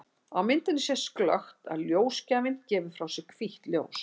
Á myndinni sést glöggt að ljósgjafinn gefur frá sér hvítt ljós.